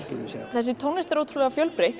þessi tónlist er ótrúlega fjölbreytt